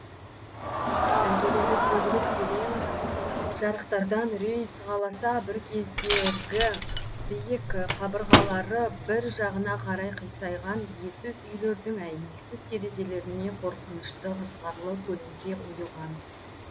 іргелері сөгіліп терең жарықтардан үрей сығаласа бір кездергі биік қабырғалары бір жағына қарай қисайған иесіз үйлердің әйнексіз терезелеріне қорқынышты ызғарлы көлеңке ұйыған